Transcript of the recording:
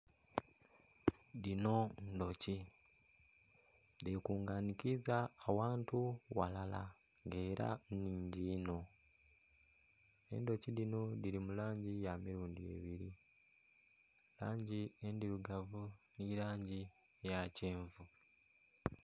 Dhino ndhuki dhekunganikiza awantu walala nga ela nnhingi inho. Endhuki dhino dhili mu langi ya mirundhi ebiri, langi endhirugavu ni langi eya kyenvu.